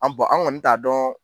An bɔn an kɔni t'a dɔn